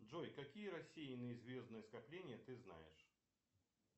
джой какие рассеянные звездные скопления ты знаешь